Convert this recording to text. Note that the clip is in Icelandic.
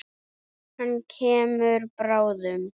Hann kemur bráðum.